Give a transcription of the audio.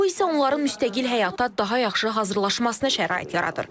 Bu isə onların müstəqil həyata daha yaxşı hazırlanmasına şərait yaradır.